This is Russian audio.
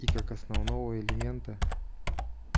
и как основного элемента